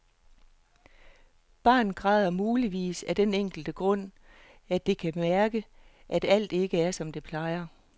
Barnet græder muligvis af den enkle grund, at det kan mærke, at alt ikke er som det plejer.